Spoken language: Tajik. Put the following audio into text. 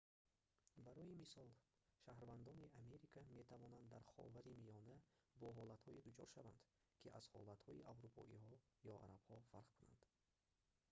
барои мисол шаҳрвандони америка метавонанд дар ховари миёна бо ҳолатҳое дучор шаванд ки аз ҳолатҳои аврупоиҳо ё арабҳо фарқ кунанд